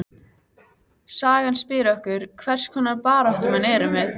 Sagan spyr okkur: hvers konar baráttumenn erum við?